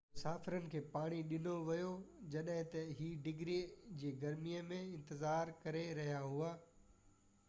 مسافرن کي پاڻي ڏنو ويو جڏهن اهي 90f-ڊگري جي گرمي ۾ انتظار ڪري رهيا هئا